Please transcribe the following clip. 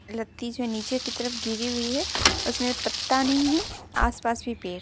लत्ती जो है नीचे की तरफ गिरी हुई है उसमे पत्ता नहीं है आस-पास भी पेड़ --